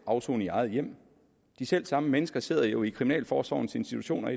afsoning i eget hjem de selv samme mennesker sidder jo i kriminalforsorgens institutioner